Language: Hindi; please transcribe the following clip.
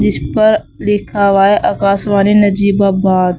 इस पर लिखा हुआ है आकाशवाणी नजीबाबाद।